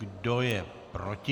Kdo je proti?